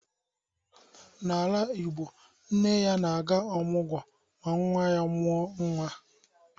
N'ala igbo, nne na-aga ọmugwọ ma nwa ya nwaanyi mụọ nnwa